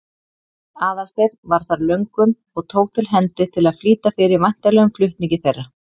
Aðalsteinn var þar löngum og tók til hendi til að flýta fyrir væntanlegum flutningi þeirra.